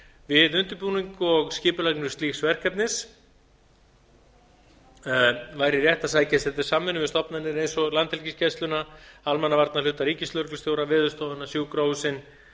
við undirbúning og skipulagningu slíks verkefnis væri rétt að sækjast eftir samvinnu við stofnanir eins og landhelgisgæsluna almannavarnahluta ríkislögreglustjóra veðurstofuna sjúkrahúsin